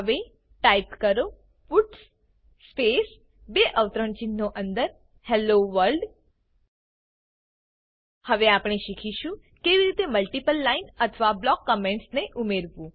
હવે ટાઈપ કરો puts space બે અવતરણચિહ્નો અંદર હેલ્લો વર્લ્ડ હવે આપણે શીખીશું કેવી રીતે મલ્ટીપલ લાઈન અથવા બ્લોક કમેન્ટ્સ ને ઉમેરવું